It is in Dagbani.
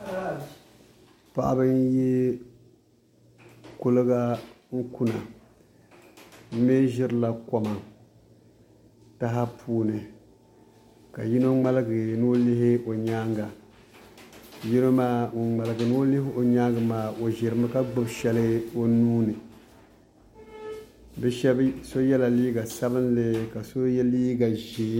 Paɣaba n yi kuligi n kunna bi mii ʒirila kom taha puuni ka yino ŋmaligi ni o lihi o nyaanga yino maa ŋun ŋmaligi ni o lihi o nyaangi maa o ʒirimi ka gbubi shɛli o nuuni so yɛla liiga sabinli ka so yɛ liiga ʒiɛ